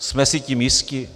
Jsme si tím jisti?